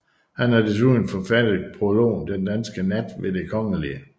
Han har desuden forfattet prologen Den danske Nat ved Det kgl